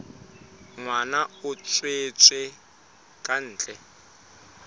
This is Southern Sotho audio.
ngwana a tswetswe ka ntle